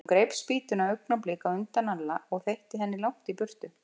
Hún greip spýtuna augnabliki á undan Alla og þeytti henni langt í burtu.